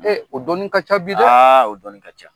Ee o dɔnni ka ca bi dɛ , aa o dɔnni ka ca.